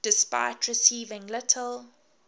despite receiving little